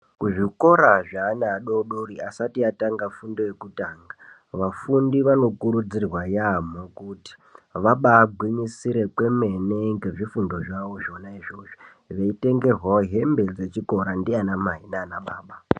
Kuzvikora zveana adoodori asati atanga fundo yekutanga, vafundi vanokurudzirwe yaamho kuti vabaagwinyisire kwemene ngezvifundo zvavo izvozvo, veitengerwawo hembe dzechikora ndiana mai nanaa baba.